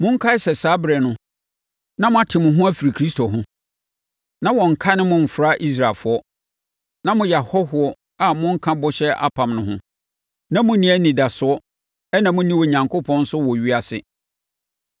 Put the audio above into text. monkae sɛ saa ɛberɛ no, na moate mo ho afiri Kristo ho, na wɔnnkane mo mfra Israelfoɔ, na moyɛ ahɔhoɔ a monka bɔhyɛ apam no ho, na monni anidasoɔ ɛna monni Onyankopɔn nso wɔ ewiase.